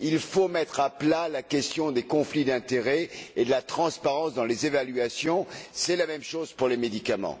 Il faut mettre à plat la question des conflits d'intérêts et de la transparence des évaluations. C'est la même chose pour les médicaments.